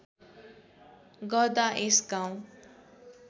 गर्दा यस गाउँ